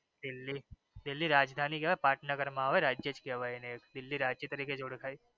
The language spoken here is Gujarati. દિલ્હી રાજધાની કેવાઈ પાટનગર માં આવે રાજ્ય જ કેવાઈ દિલ્હી રાજ્ય તરીકે જ ઓળખાઈ.